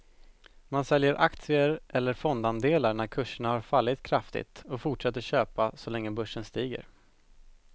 Man säljer aktier eller fondandelar när kurserna har fallit kraftigt och fortsätter köpa så länge börsen stiger.